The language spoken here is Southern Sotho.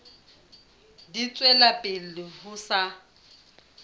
di tswela pele ho sa